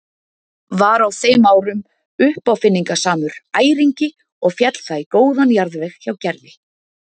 Var á þeim árum uppáfinningasamur æringi og féll það í góðan jarðveg hjá Gerði.